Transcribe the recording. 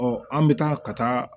an bɛ taa ka taa